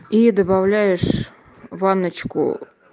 и добавляешь ванночку